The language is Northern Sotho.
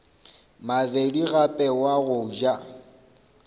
mabedi gape wa go ja